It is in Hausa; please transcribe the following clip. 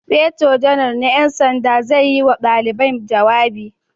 Sufeto Janar na 'yan sanda zai yi wa dalibai jawabi